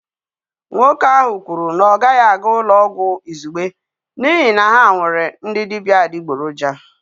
Nwoke ahụ kwuru na ọ gaghị aga ụlọ ọgwụ izugbe n'ihi na ha nwere ndị dibịa adịgboroja